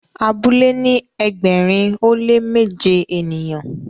abule ni ẹgbẹrin o le méje ènìyàn